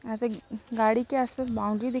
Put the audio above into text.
यहाँ से गाड़ी के आसपास बाउन्ड्री दिख --